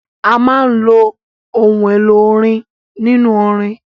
A máa ń lo òun èlò orin nínú orin.